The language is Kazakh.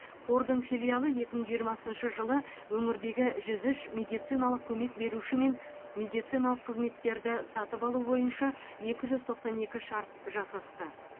қордың филиалы екі мың жиырмасыншы жылы өңірдегі жүз үш медициналық көмек берушімен медициналық қызметтерді сатып алу бойынша екі жүз тоқсан екі шарт жасасты